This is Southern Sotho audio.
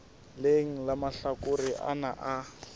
leng la mahlakore ana a